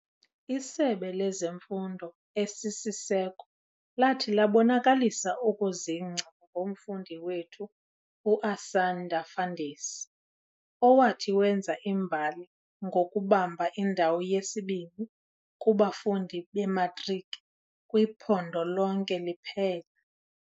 Isebe lezeMfundo esisiseko lathi labonakalisa ukuzingca ngomfundi wethu uAsanda Fandesi owathi wenza imbali ngokubamba indawo yesibini kubafundi beMatriki kwiphondo lonke liphela.